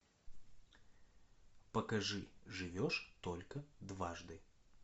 покажи живешь только дважды